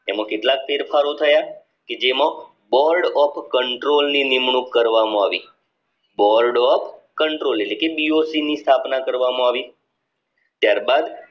તેમાં કેટલાક ફેરફારો થયા કે જેમાં board of control ની નિમણુંક કરવામાં આવી call dot control એટલે કે doc ની સ્થાપના કરવામાં આવી ત્યારબાદ